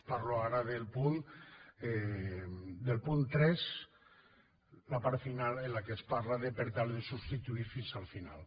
parlo ara del punt tres la part final en la qual es parla de per tal de substituir fins al final